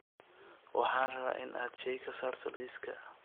Waxaan rabaa in aad shay ka saarto liiska